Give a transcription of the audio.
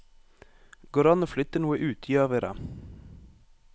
Går det an å flytte noe ut, gjør vi det.